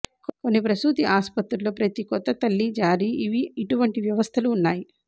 కొన్ని ప్రసూతి ఆసుపత్రుల్లో ప్రతి కొత్త తల్లి జారీ ఇవి ఇటువంటి వ్యవస్థలు ఉన్నాయి